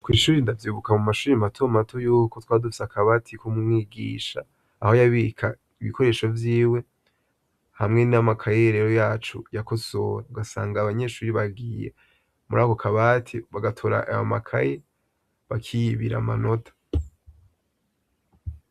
Kw'ishuri ndavyibuka mu mashure mato mato yuko twari dufise akabati k'umwigisha, aho yabika ibikoresho vyiwe, hamwe n'amakaye rero yacu yakosora. Ugasanga abanyeshure bagiye muri ako kabati bagatora ayo makaye bakiyibira amanota.